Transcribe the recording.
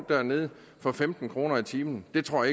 dernede for femten kroner i timen det tror